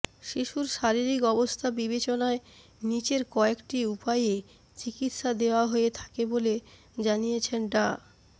শিশুর শারীরিক অবস্থা বিবেচনায় নিচের কয়েকটি উপায়ে চিকিৎসা দেয়া হয়ে থাকে বলে জানিয়েছেন ডা